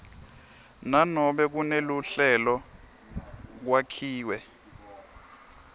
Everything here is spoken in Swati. nanobe kuneluhlelo kwakhiwe